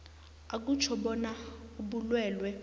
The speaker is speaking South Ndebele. akutjho bona ubulwelwe